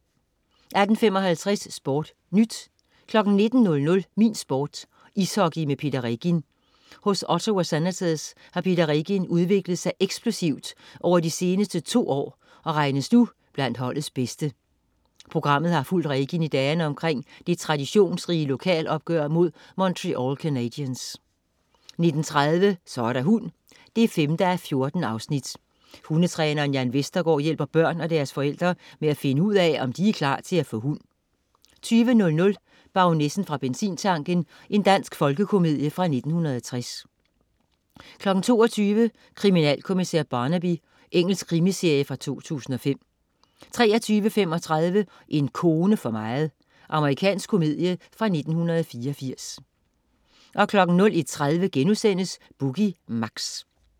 18.55 SportNyt 19.00 Min Sport: Ishockey med Peter Regin. Hos Ottawa Senators har Peter Regin udviklet sig eksplosivt over de seneste to år og regnes nu blandt holdets bedste. Programmet har fulgt Regin i dagene omkring det traditionsrige lokalopgør mod Montreal Canadiens 19.30 Så er der hund 5:14. Hundetræneren Jan Vestergaard hjælper børn og deres forældre med at finde ud af, om de er klar til at få hund 20.00 Baronessen fra benzintanken. Dansk folkekomedie fra 1960 22.00 Kriminalkommissær Barnaby. Engelsk krimiserie fra 2005 23.35 En kone for meget. Amerikansk komedie fra 1984 01.30 Boogie Mix*